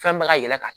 Fɛn bɛ ka yɛlɛma